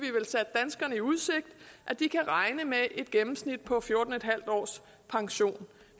danskerne i udsigt at de kan regne med et gennemsnit på fjorten en halv års pension